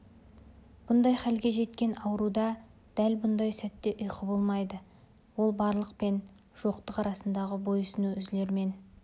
бұндай халге жеткен ауруда дәл бұндай сәтте ұйқы болмайды ол барлық пен жоқтық арасындағы бойсұну үзілермен